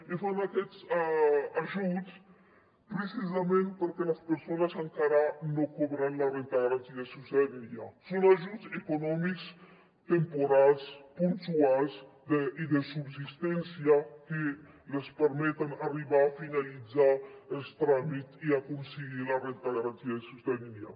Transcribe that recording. i fan aquests ajuts precisament perquè les persones encara no cobren la renda garantida de ciutadania són ajuts econòmics temporals puntuals i de subsistència que els permeten arribar a finalitzar els tràmits i aconseguir la renda garantida de ciutadania